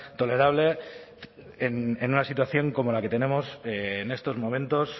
tolerable en una situación como la que tenemos en estos momentos